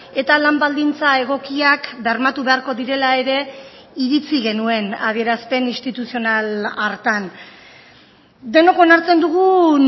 eta lan baldintza egokiak bermatu beharko direla ere iritzi genuen adierazpen instituzional hartan denok onartzen dugun